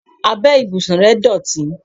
Abẹ́ ìbùsùn rẹ̀ dọ̀tí.